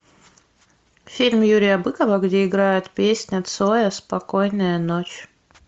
фильм юрия быкова где играет песня цоя спокойная ночь